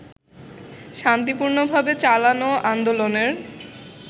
শান্তিপূর্ণভাবে চালানো আন্দোলনের